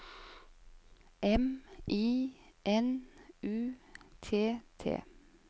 M I N U T T